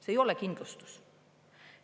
See ei ole kindlustus.